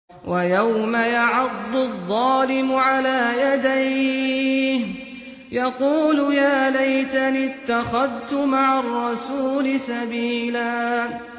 وَيَوْمَ يَعَضُّ الظَّالِمُ عَلَىٰ يَدَيْهِ يَقُولُ يَا لَيْتَنِي اتَّخَذْتُ مَعَ الرَّسُولِ سَبِيلًا